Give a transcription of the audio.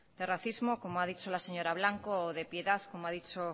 de racismo como ha dicho la señora blanco o de piedad como ha dicho